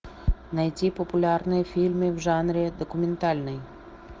найти популярные фильмы в жанре документальный